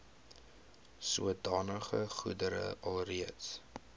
sodanige goedere alreeds